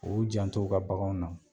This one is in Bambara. U y'u janto u ka baganw na